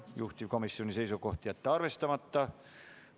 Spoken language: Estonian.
Juhtivkomisjoni seisukoht on jätta see arvestamata.